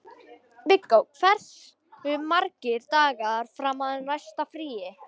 Viggó, hversu margir dagar fram að næsta fríi?